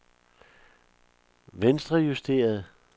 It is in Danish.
venstrejusteret